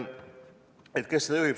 Kes seda juhib?